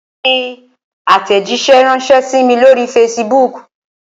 Fi àtẹ̀jíṣẹ́ ránṣẹ sí mí lóri facebook!